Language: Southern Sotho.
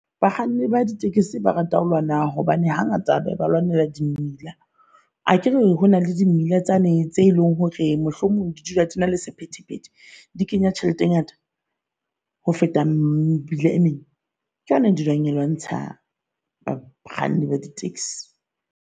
Bakganni ba di tekesi, ba rata ho lona hobane hangata ba lwanela di mmila. Akere hona le di mmila tsane tse leng hore mohlomong di dula le sephethephethe, di kenya tjhelete e ngata ho feta mebila e meng. Ke yona dulang lwantsha bakganni ba di taxi.